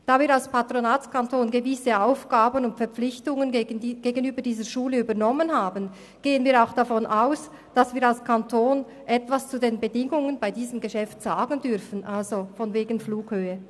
Da wir als Patronatskanton gegenüber dieser Schule gewisse Aufgaben übernommen haben und Verpflichtungen eingegangen sind, gehen wir auch davon aus, dass der Kanton etwas zu den Bedingungen bei diesem Geschäft sagen darf – so von wegen Flughöhe.